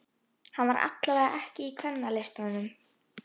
Hann var allavega ekki í Kvennalistanum.